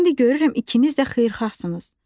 İndi görürəm ikiniz də xeyirxahsınız.